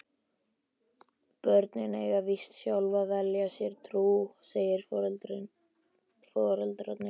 Börnin eiga víst sjálf að velja sér trú, segja foreldrarnir.